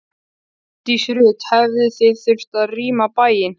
Hjördís Rut: Hefðuð þið þurft að rýma bæinn?